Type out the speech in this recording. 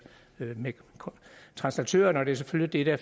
med translatørerne og det er selvfølgelig det